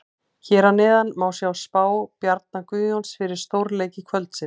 Hér að neðan má sjá spá Bjarna Guðjóns fyrir stórleiki kvöldsins.